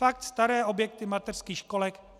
Fakt staré objekty mateřských školek.